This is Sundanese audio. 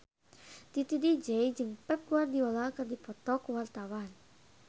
Titi DJ jeung Pep Guardiola keur dipoto ku wartawan